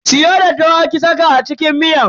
Siyo daddawa ki saka a cikin miyan.